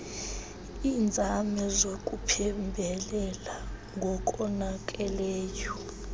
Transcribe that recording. iinzame zokuphembelela ngokonakeleyo